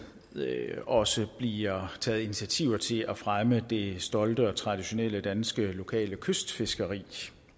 også bliver taget initiativer til at fremme det stolte og traditionelle danske lokale kystfiskeri